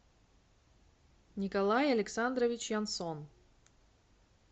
николай александрович янсон